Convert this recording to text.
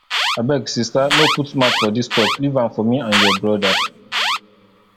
abeg sister no put mouth for dis talk leave am for me and your brother